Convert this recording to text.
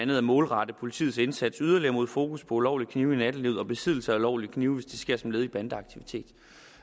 ved at målrette politiets indsats yderligere med fokus på ulovlige knive i nattelivet og besiddelse af ulovlige knive hvis det sker som led i bandeaktiviteter